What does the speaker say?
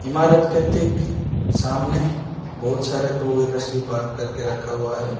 इमारत के ठीक सामने बहुत सारे टू व्हीलर भी पार्क करके रखा हुआ है।